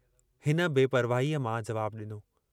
हिन बेपरवाहीअ मां जवाबु ॾिनो।